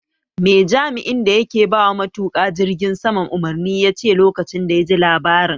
Me jami'in da yake bawa matuka jirgin sama umarni yace lokacin da yaji labarin?